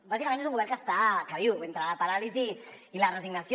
bàsicament és un govern que viu entre la paràlisi i la resignació